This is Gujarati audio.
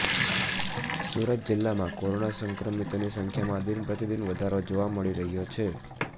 સુરત જિલ્લામાં કોરોના સંક્રમિતોની સંખ્યામાં દિનપ્રતિદિન વધારો જોવા મળી રહ્યો છે